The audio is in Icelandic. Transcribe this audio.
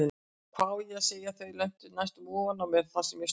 Hvað á ég að segja, þau lentu næstum ofan á mér þar sem ég stóð.